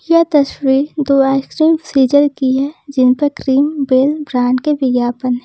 यह तस्वीर दो आइसक्रीम फ्रिजर की है जिन पर क्रीम बेल ब्रांड के विज्ञापन है।